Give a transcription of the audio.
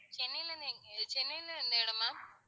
சென்னையில இருந்து எங்க சென்னையில எந்த இடம் ma'am